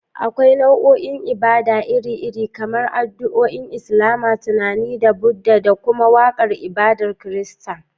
Akwai nau'o'in ibada iri-iri, kamar addu'o'in Islama, tunani na Buddha, da kuma waƙar ibadar Kirista.